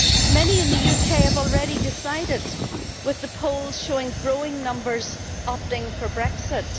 Many in the UK have already decided, with the polls showing growing numbers opting for Brexit.